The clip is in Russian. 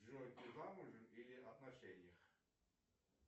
джой ты замужем или в отношениях